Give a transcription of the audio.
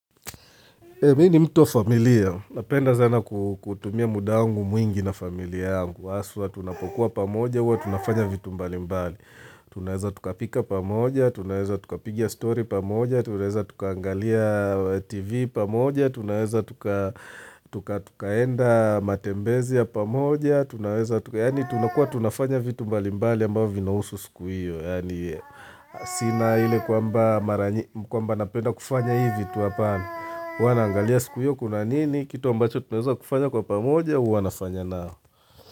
Mi ni mtu wa familia, napenda zana kutumia muda wangu mwingi na familia yangu. Aswa tunapokuwa pamoja uwa, tunafanya vitu mbali mbali. Tunaweza tukapika pamoja, tunaweza tukapigia story pamoja, tunaweza tukaangalia tv pamoja, tunaweza tukaenda matembezi ya pamoja, tunakua tunafanya vitu mbali mbali ambao vinausu sikuio. Sina ile kwamba napenda kufanya hivi vitu apana. Wana angalia sikuyo kuna nini kitu ambacho tumeza kufanya kwa pamoja wana nafanya nao.